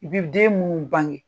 I bi den minnu bange.